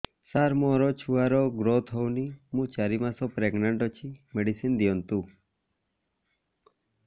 ସାର ମୋର ଛୁଆ ର ଗ୍ରୋଥ ହଉନି ମୁ ଚାରି ମାସ ପ୍ରେଗନାଂଟ ଅଛି ମେଡିସିନ ଦିଅନ୍ତୁ